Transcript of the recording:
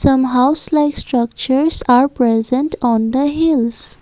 some house life structures are present on the hills.